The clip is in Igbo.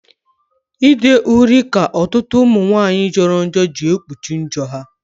Ide uri ka ọtụtụ umunwaanyi joro njo gị ekpuchi njo ha.